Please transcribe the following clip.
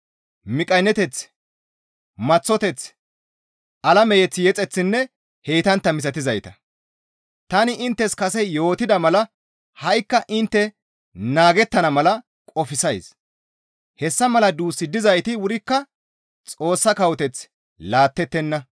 miqqayneteth, maththoteth, alame mazamure yexeththinne heytantta misatizayta. Tani inttes kase yootida mala ha7ikka intte naagettana mala qofsays; hessa mala duus dizayti wurikka Xoossa kawoteth laattettenna.